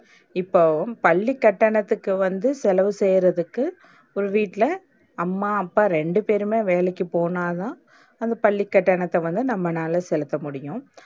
இப்போ பள்ளி கட்டணத்துக்கு வந்து செலவு செய்றதுக்கு ஒரு வீட்ல அம்மா அப்பா ரெண்டுபேரும்மே வேலைக்கி போனாதா நம்ம பள்ளி கட்டணத்த வந்து நம்மனால செலுத்த முடியும்.